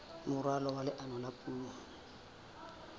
moralo wa leano la puo